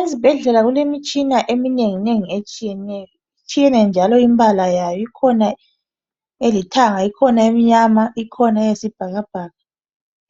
Ezibhedlela kulemitshina eminengi nengi etshiyeneyo itshiyene njalo imbala yayo ikhona elithanga ikhona emnyama ikhona eyisibhakabhaka